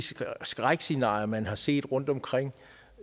skrækscenarier man har set rundtomkring